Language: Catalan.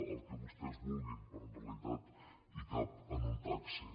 el que vostès vulguin però en realitat cap en un taxi